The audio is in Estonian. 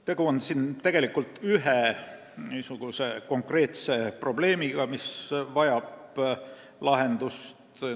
Tegu on õigupoolest ühe konkreetse probleemiga, mis vajab lahendust.